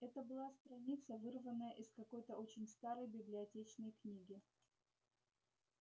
это была страница вырванная из какой-то очень старой библиотечной книги